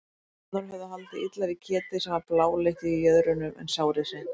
Umbúðirnar höfðu haldið illa við ketið sem var bláleitt í jöðrunum en sárið hreint.